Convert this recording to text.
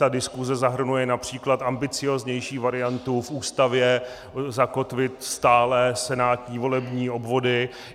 Ta diskuse zahrnuje například ambicióznější variantu v Ústavě zakotvit stálé senátní volební obvody.